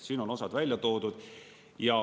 Siin on osad välja toodud.